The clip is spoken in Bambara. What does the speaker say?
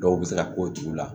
Dɔw bɛ se ka ko t'u la